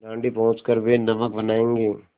दाँडी पहुँच कर वे नमक बनायेंगे